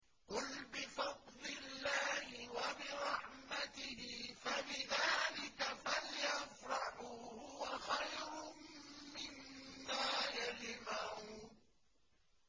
قُلْ بِفَضْلِ اللَّهِ وَبِرَحْمَتِهِ فَبِذَٰلِكَ فَلْيَفْرَحُوا هُوَ خَيْرٌ مِّمَّا يَجْمَعُونَ